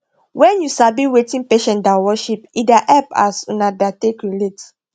wen u sabi wetin patient da worship e da hep as una da take relate